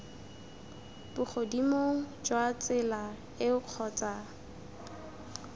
bogodimong jwa tsela eo kgotsa